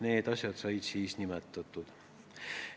Need asjad on siis nimetatud.